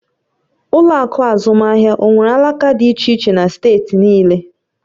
Ụlọ akụ azụmaahịa onwere alaka dị iche iche na steeti niile?